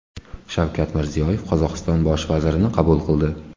Shavkat Mirziyoyev Qozog‘iston Bosh vazirini qabul qildi.